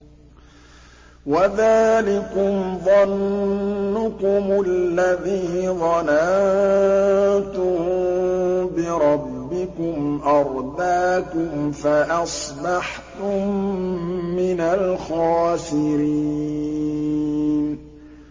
وَذَٰلِكُمْ ظَنُّكُمُ الَّذِي ظَنَنتُم بِرَبِّكُمْ أَرْدَاكُمْ فَأَصْبَحْتُم مِّنَ الْخَاسِرِينَ